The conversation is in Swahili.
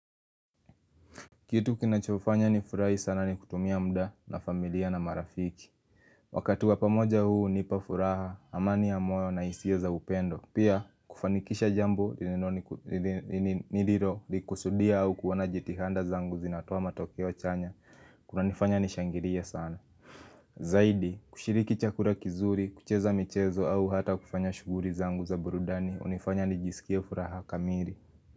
Kitu kinachofanya ni furahi sana ni kutumia mda na familia na marafiki Wakati wapamoja huu unipa furaha, amani ya moyo na hisia za upendo Pia, kufanikisha jambo, niliro, likusudia au kuona jitihanda zangu zinatoa matokeo chanya kunanifanya nishangirie sana Zaidi, kushiriki chakura kizuri, kucheza michezo au hata kufanya shuguri zangu za burudani unifanya nijisikie furaha kamiri.